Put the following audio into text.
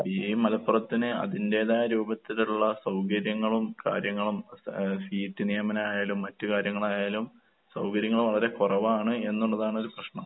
ഈ മലപ്പുറത്തിന് അതിന്റേതായ രൂപത്തിലുള്ള സൗകര്യങ്ങളും കാര്യങ്ങളും ഏഹ് സീറ്റ് നിയമനായാലും മറ്റ് കാര്യങ്ങളായാലും സൗകര്യങ്ങൾ വളരെ കൊറവാണ് എന്നുള്ളതാണൊരു പ്രശ്നം.